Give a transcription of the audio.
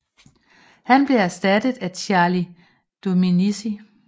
Han blev erstattet af Charli Dominicci